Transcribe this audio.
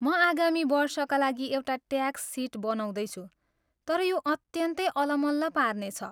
म आगामी वर्षका लागि एउटा ट्याक्स सिट बनाउँदैछु तर यो अत्यन्तै अलमल्ल पार्ने छ।